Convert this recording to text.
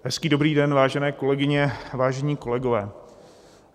Hezký dobrý den, vážené kolegyně, vážení kolegové.